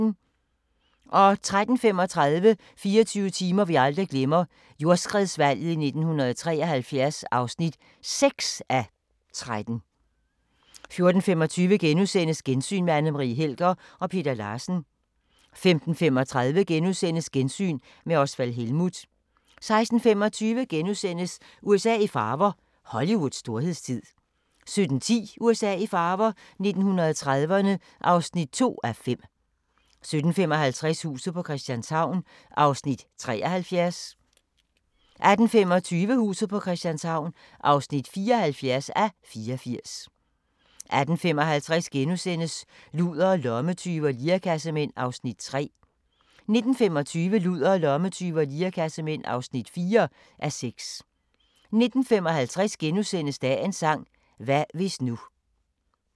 13:35: 24 timer vi aldrig glemmer – jordskredsvalget i 1973 (6:13) 14:25: Gensyn med Anne Marie Helger og Peter Larsen * 15:35: Gensyn med Osvald Helmuth * 16:25: USA i farver – Hollywoods storhedstid * 17:10: USA i farver – 1930'erne (2:5) 17:55: Huset på Christianshavn (73:84) 18:25: Huset på Christianshavn (74:84) 18:55: Ludere, lommetyve og lirekassemænd (3:6)* 19:25: Ludere, lommetyve og lirekassemænd (4:6) 19:55: Dagens sang: Hvad hvis nu *